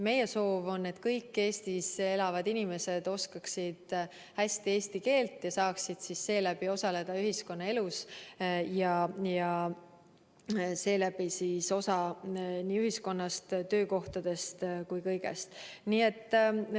Meie soov on, et kõik Eestis elavad inimesed oskaksid hästi eesti keelt ja saaksid seeläbi osaleda ühiskonnaelus, saaksid osa nii ühiskonnast, töökohtadest kui ka kõigest muust.